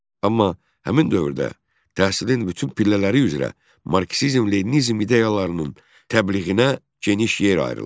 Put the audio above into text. Amma həmin dövrdə təhsilin bütün pillələri üzrə marksizm-leninizm ideyalarının təbliğinə geniş yer ayrılır.